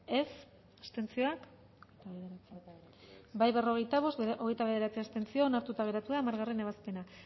dezakegu bozketaren emaitza onako izan da hirurogeita hamalau eman dugu bozka berrogeita bost boto aldekoa hogeita bederatzi abstentzio onartuta geratu da hamargarrena ebazpena